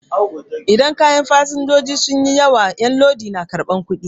Idan kayan fasenjoji sun yi yawa 'yan lodi na karɓan kuɗi